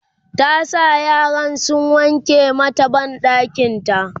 ta sa yaran sun wanke mata banɗakinta